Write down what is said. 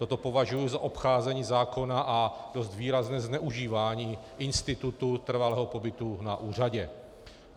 Toto považuji za obcházení zákona a dost výrazné zneužívání institutu trvalého pobytu na úřadě.